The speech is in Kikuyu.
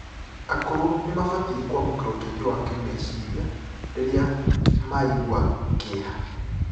akũrũ nimabatie kuamukira ũteithio wa kimecirĩa rirĩa maĩ gua kieha